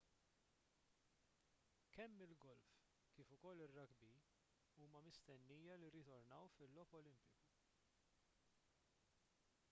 kemm il-golf kif ukoll ir-rugby huma mistennija li jirritornaw fil-logħob olimpiku